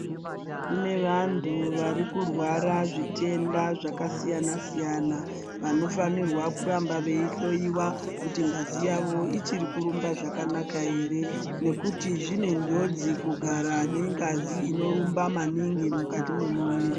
Kune vantu vari kurwara nezvitenda zvakasiya-nasiyana, vanofanirwa kuramba veihloiwa, kuti ngazi yavo ichiri kurumba zvakanaka ere, nekuti zvine njodzi kugara nengazi inorumba maningi mukati mwemuviri.